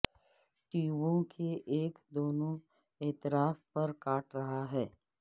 ٹیوبوں کے ایک دونوں اطراف پر کاٹ رہا ہے